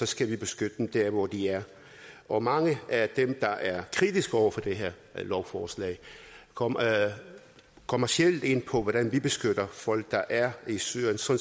skal vi beskytte dem der hvor de er og mange af dem der er kritiske over for det her lovforslag kommer kommer sjældent ind på hvordan vi kan beskytte folk der er i syrien så